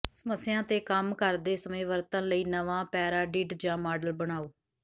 ਸਮੱਸਿਆਵਾਂ ਤੇ ਕੰਮ ਕਰਦੇ ਸਮੇਂ ਵਰਤਣ ਲਈ ਨਵਾਂ ਪੈਰਾਡਿਡ ਜਾਂ ਮਾਡਲ ਬਣਾਉ